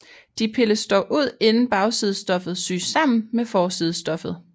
De pilles dog ud inden bagside stoffet syes sammen med forsiden stoffet